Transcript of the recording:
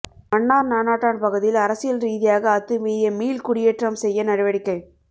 மன்னார் நானாட்டான் பகுதியில் அரசியல் ரீதியாக அத்துமீறிய மீள் குடியேற்றம் செய்ய நடவடிக்கை